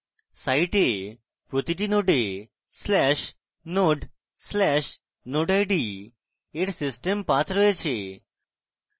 site প্রতিটি node/node/nodeid এর system path রয়েছে